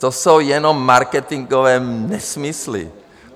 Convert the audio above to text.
To jsou jenom marketinkové nesmysly.